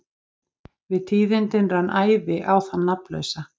Við tíðindin rann æði á þann nafnlausa.